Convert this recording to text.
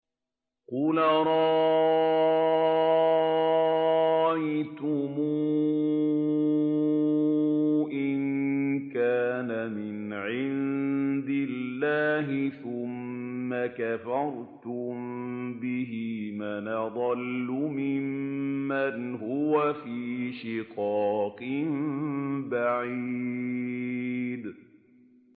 قُلْ أَرَأَيْتُمْ إِن كَانَ مِنْ عِندِ اللَّهِ ثُمَّ كَفَرْتُم بِهِ مَنْ أَضَلُّ مِمَّنْ هُوَ فِي شِقَاقٍ بَعِيدٍ